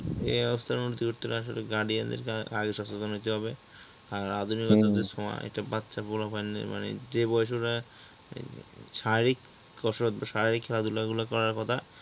এ অবস্থার উন্নতি করতে হলে আসলে guardian এর আরো সচেতন হতে হবে আর আধুনিকতার যে ছোয়া এটা বাচ্চা পোলাপানদের মানে যে বয়সে ওরা শারীরিক কসরত শারীরিক খেলাধুলো গুলো করার কথা